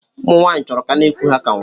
Ụmụnwanyi chọrọ ka ana iku ha ka nwa.